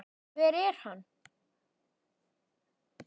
hver er hann?